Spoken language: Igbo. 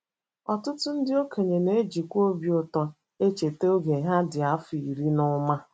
Ọtụtụ ndị okenye na - ejikwa obi ụtọ echeta oge ha dị afọ iri na ụma.